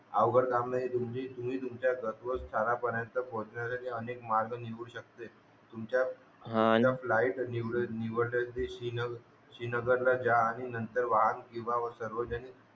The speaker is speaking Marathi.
अवघड काम नाहीये मी तुमचा घरपोच घरापर्यंत पोहोचण्या साठी अनेक मार्ग निघु शकते तुमचा हा आणि लाईव्ह निवडण्याची शिन श्रीनगर ला जा आणि नंतर सर्वजने